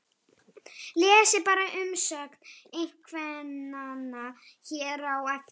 Lesið bara umsögn eiginkvennanna hér á eftir